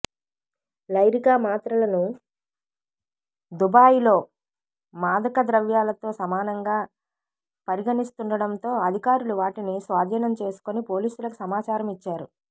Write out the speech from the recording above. Lyrica మాత్రలను దుబాయ్లో మాదకద్రవ్యాలతో సమానంగా పరిగణిస్తుండటంతో అధికారులు వాటిని స్వాధీనం చేసుకుని పోలీసులకు సమాచారం ఇచ్చారు